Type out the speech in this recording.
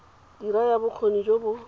dira ya bokgoni jo bo